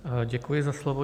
Děkuji za slovo.